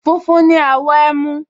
Funfun ni àwọ̀ ẹmu